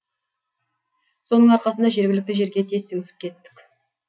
соның арқасында жергілікті жерге тез сіңісіп кеттік